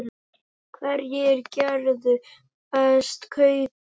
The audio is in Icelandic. Hverjir gerðu bestu kaupin?